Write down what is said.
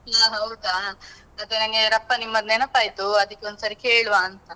ಹ್ಮ್ ಹೌದಾ, ಮತ್ತೆ ನಂಗೆ ರಪ್ಪ ನಿಮ್ಮದ್ ನೆನಪ್ ಆಯ್ತು ಅದಕ್ಕೆ ಒಂದ್ಸರಿ ಕೇಳುವಂತಾ.